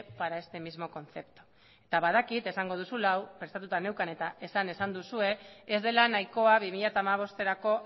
para este mismo concepto eta badakit esango duzula eta hau prestatuta neukan eta esan esan duzue ez dela nahikoa bi mila hamabosterako